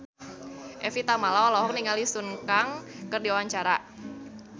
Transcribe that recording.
Evie Tamala olohok ningali Sun Kang keur diwawancara